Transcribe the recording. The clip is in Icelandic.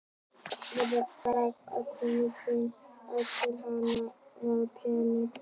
Hvernig gat hún komið þeim í skilning um að hana vantaði peninga?